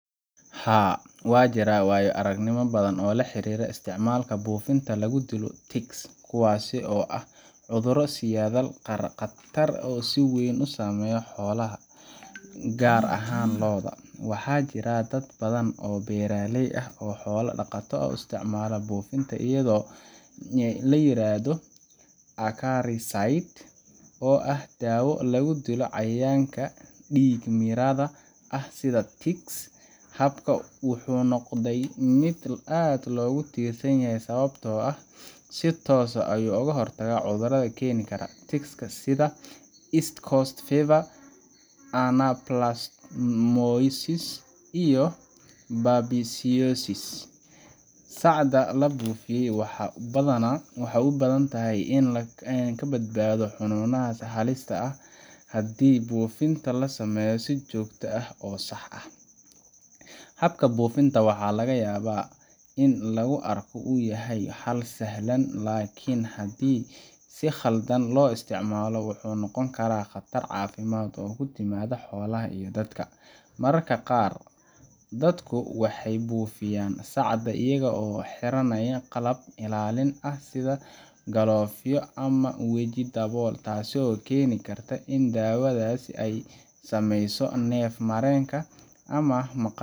Haa, waxaa jira waayo-aragnimooyin badan oo la xiriira isticmaalka buufinta lagu dilo ticks—kuwaas oo ah cudur sidayaal khatar ah oo si weyn u saameeya xoolaha, gaar ahaan lo’da. Waxaa jira dad badan oo beeraley ah ama xoolo dhaqato ah oo isticmaala buufin la yiraahdo acaricide oo ah daawo lagu dilo cayayaanka dhiig-miiratada ah sida ticks. Habkan wuxuu noqday mid aad loogu tiirsan yahay, sababtoo ah wuxuu si toos ah uga hortagaa cudurrada ay keeni karaan ticks sida East Coast Fever, Anaplasmosis, iyo Babesiosis. Sacda la buufiyo waxay u badan tahay in ay ka badbaado xanuunadaas halista ah haddii buufinta la sameeyo si joogto ah oo sax ah. Habka buufinta waxaa laga yaabaa in lagu arko in uu yahay xal sahlan, laakiin haddii si khaldan loo isticmaalo wuxuu noqon karaa khatar caafimaad oo ku timaada xoolaha iyo dadka. Mararka qaar dadku waxay buufiyaan sacda iyaga oo aan xirnayn qalab ilaalin ah sida galoofyo ama waji dabool, taasoo keeni karta in daawadaasi ay saameyso neef mareenka ama maqaarka